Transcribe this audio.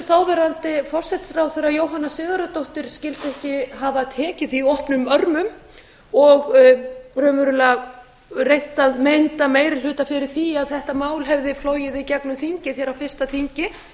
þáverandi forsætisráðherra jóhanna sigurðardóttir skyldi ekki hafa tekið því opnum örmum og raunverulega reynt að mynda meiri hluta fyrir því að þetta mál hefði flogið í gegnum þingið hér á fyrsta þingi